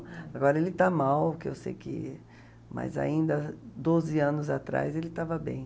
Agora ele está mal, que eu sei que... Mas ainda doze anos atrás ele estava bem.